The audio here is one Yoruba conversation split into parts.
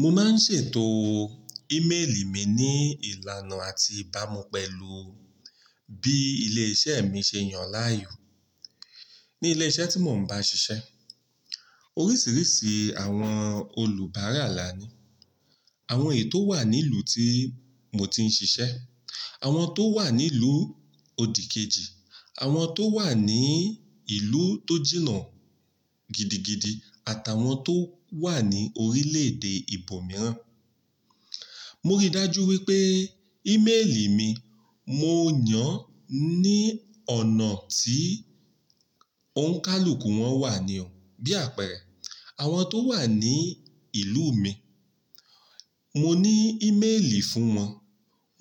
Mo máa ń ṣètò ímélì mi ní ìlànà àti ìbámu pẹ̀lú bí ilé-iṣẹ́ mi ṣe yàn láàyò. Ní ilé iṣẹ́ tí mò ń bá ṣiṣẹ́, oríṣiríṣi àwọn olùbárà là ni. Àwọn ètò wà ní ìlú tí mo ti ń ṣiṣẹ́, àwọn tó wà ní ìlú odìkejì, àwọn tó wà ní ìlú tó jìnnà gidigidi àtàwọn tó wà ní orílẹ̀èdè ibòmíràn. Mo rí dájú wípé ímélì mi, mo yàn ní ọ̀nà tí òǹkálùkù wọn wà nì o Bí àpẹẹrẹ, àwọn tó wà ní ìlú mi, mo ní ímélì fún wọn.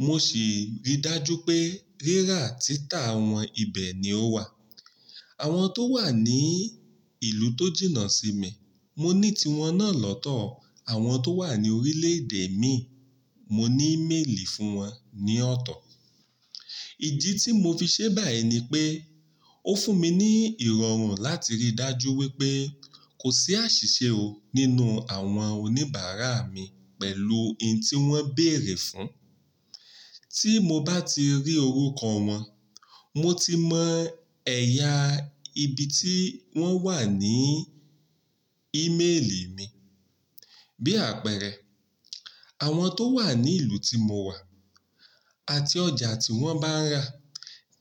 Mo sì rí dájú pé rírà títà àwọn ibẹ̀ ni ó wà. Àwọn tó wà ní ìlú tó jìnnà sí mi, mo ní tiwọn náà lọ́tọ̀. Àwọn tó wà ní orílẹ̀èdè mi, mo ní ímélì fún wọn ní ọ̀tọ̀. Ìdí tí mo fi ṣe báyìí ni pé ó fún mi ní ìrọ̀rùn láti rí dájú wípé kò sí àṣìṣe o nínú àwọn oníbàárà mi pẹ̀lú ohun tí wọ́n béèrè fún. Tí mo bá ti rí orúkọ wọn, mo ti mọ̀ ẹ̀yà ibi tí wọ́n wà ní ímélì mi. Bí àpẹẹrẹ, àwọn tó wà ní ìlú tí mo wà àti ọjà tí wọ́n bá ń ra,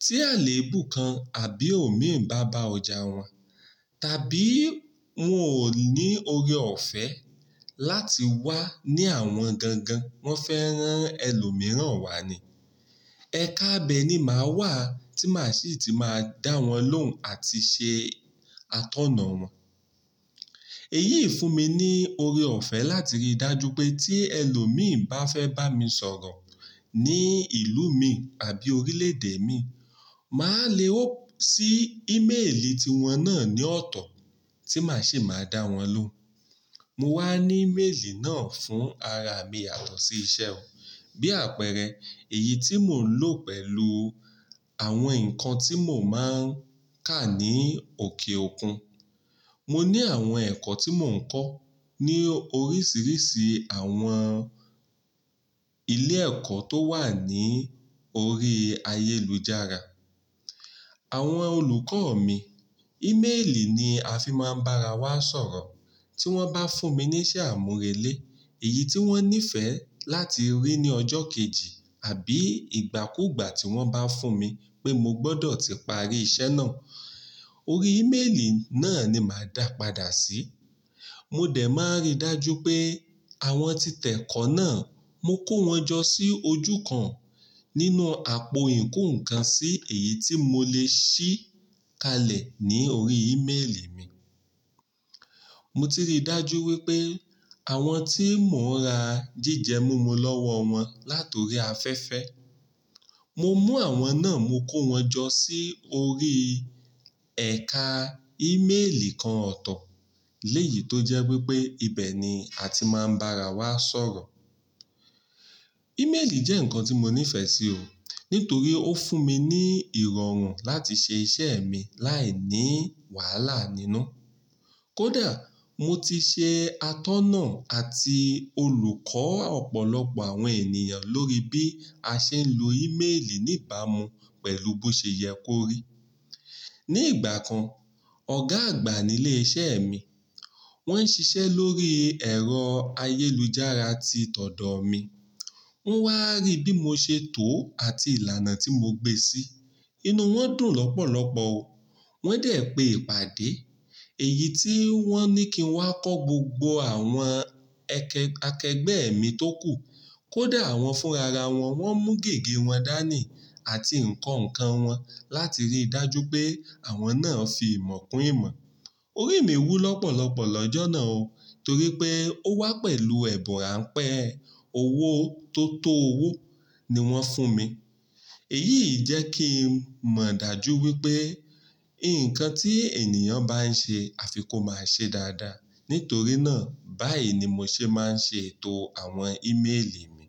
tí àléébù kan àbí òmíì bá bá ọjà wọn, tàbí wọ́n ò ní ore ọ̀fẹ́ láti wá ní àwọn gangan, wọ́n fẹ́ rán ẹlòmíràn wá ni. Ẹ̀ka abẹ ni máa wà tí màá sì ti máa dá wọn lóhùn àti ṣe atọ́nà wọn. Èyí fún mi ní oore ọ̀fẹ́ láti rí dájú pé tí ẹlòmíì bá fẹ́ bá mi sọ̀rọ̀ ní ìlú mi àbí orílẹ̀èdè mi, màá le open sí ímélì tiwọn náà ní ọ̀tọ̀ tí màá sì máa dá wọn lóhùn. Mo wá ní ímélì náà fún ara mi yato si iṣẹ́ o. Bí àpẹẹrẹ, èyí tí mò ń lò pẹ̀lú àwọn nǹkan tí mò máa ń kà ní òkè òkun. Mo ní àwọn ẹ̀kọ́ tí mò ń kọ́ ní oríṣiríṣi àwọn ilé ẹ̀kọ́ tó wà ní orí ayélujára. Àwọn olùkọ́ mi, ímélì ni a fi máa ń bá ara wa sọ̀rọ̀. Tí wọ́n bá fún mi ní iṣẹ́ àmúrelé, èyí tí wọ́n nífẹ̀ẹ́ láti rí ní ọjọ́ kejì àbí ìgbàkúgbà tí wọ́n bá fún mi pé mo gbọ́dọ̀ ti parí iṣẹ́ náà, orí ímélì náà ni màá dàpàdà sí. Mo dẹ̀ máa rí dájú pé àwọn títẹ̀kọ́ náà, mo kó wọn jọ sí ojú kan nínú àpò ìkó ǹkan sí èyí tí mo lè ṣí kalẹ̀ ní orí ímélì mi. Mo ti rí dájú wípé àwọn tí mò ń ra jíjẹ múmu lọ́wọ́ wọn láti orí afẹ́fẹ́, mo mú àwọn náà, mo kó wọn jọ sí orí ẹ̀ka ímélì kan ọ̀tọ̀. Lẹ́yìn tó jẹ́ wípé ibẹ̀ ni a ti máa ń bá ara wa sọ̀rọ̀. Ímélì jẹ́ nǹkan tí mo nífẹ̀ẹ́ sí o, nítorí ó fún mi ní ìrọ̀rùn láti ṣe iṣẹ́ mi láì ní wàhálà nínú. Kódà mo ti ṣe atọ́nà àti olùkọ́ ọ̀pọ̀lọpọ̀ àwọn ènìyàn lórí bí a ṣe ń lo ímélì ní ìbámu pẹ̀lú bó ṣe yẹ kó rí. Ni ìgbà kan, ọ̀gá àgbà nílé iṣẹ́ mi, wọ́n ń ṣiṣẹ́ lórí ẹ̀rọ ayélujára tí tọ̀dọ̀ mi. Wọ́n wá rí bí mo ṣe tò ó àti ìlànà tí mo gbé sí. Inú wọn dùn lọ́pọ̀lọpọ̀ o. Wọ́n dẹ̀ pe ìpàdé. Èyí tí wọ́n ní kí n wá kọ́ gbogbo àwọn akẹgbẹ́ mi tó kù. Kódà àwọn fúnra wọn, wọ́n mú gègé wọn dání àti nǹkan nǹkan wọn láti rí dájú pé àwọn náà fi ìmọ̀ kún ìmọ̀. Orí mi wú lọ́pọ̀lọpọ̀ lọ́jọ́ náà o, torí pé ó wá pẹ̀lú ẹ̀bùrà pẹ́, owó tó tó owó ni wọ́n fún mi. Èyí jẹ́ kí n mọ̀ dájú wípé nǹkan tí ènìyàn bá ń ṣe, a fi kó máa ṣe dáadáa. Nítorí náà, báyìí ni mo ṣe máa ń ṣe ètò àwọn ímélì mi.